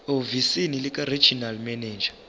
ehhovisi likaregional manager